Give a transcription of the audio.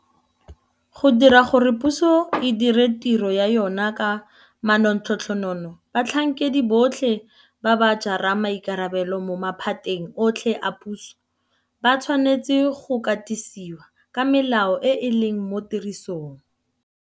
Go dira gore puso e dire tiro ya yona ka manontlhotlho batlhankedi botlhe ba ba jarang maikarabelo mo maphateng otlhe a puso ba tshwanetse go katisiwa ka melao e e leng mo tirisong.